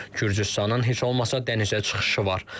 Gürcüstanın heç olmasa dənizə çıxışı var.